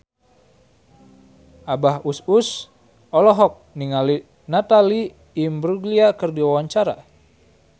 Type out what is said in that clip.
Abah Us Us olohok ningali Natalie Imbruglia keur diwawancara